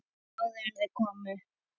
Áður en þau komu.